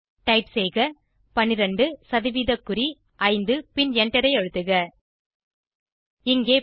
type செய்க 12 சதவீத குறி 5 பின் எண்டரை அழுத்துக இங்கே 12